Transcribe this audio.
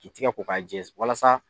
K'i tigɛ ko k'a jɛ walasa